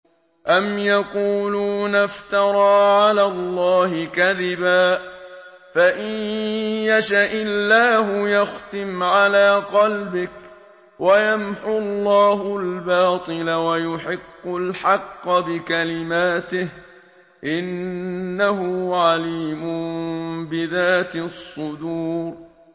أَمْ يَقُولُونَ افْتَرَىٰ عَلَى اللَّهِ كَذِبًا ۖ فَإِن يَشَإِ اللَّهُ يَخْتِمْ عَلَىٰ قَلْبِكَ ۗ وَيَمْحُ اللَّهُ الْبَاطِلَ وَيُحِقُّ الْحَقَّ بِكَلِمَاتِهِ ۚ إِنَّهُ عَلِيمٌ بِذَاتِ الصُّدُورِ